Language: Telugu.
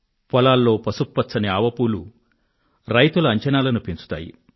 పొలాల్లో పసుపు పచ్చని ఆవ పూలు రైతుల అంచనాలను పెంచుతాయి